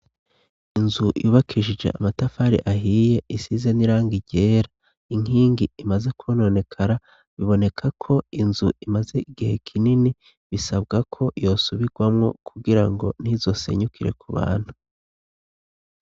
Inzu yubakijije amatafari ahiye isize n'irangi ryera inkingi imaze kwononekara biboneka ko inzu imaze igihe kinini bisabwa ko yosubirwamwo kugira ngo ntizosenyukire ku bantu.